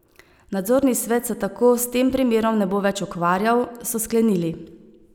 Nadzorni svet se tako s tem primerom ne bo več ukvarjal, so sklenili.